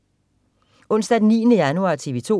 Onsdag den 9. januar - TV 2: